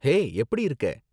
ஹே, எப்படி இருக்க?